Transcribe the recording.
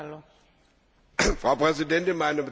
Frau Präsidentin, meine Damen und Herren!